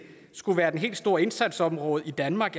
skulle være det helt store indsatsområde i danmark